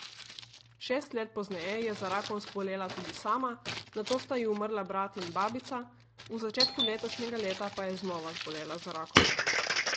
Šest let pozneje je za rakom zbolela tudi sama, nato sta ji umrla brat in babica, v začetku letošnjega leta pa je znova zbolela za rakom.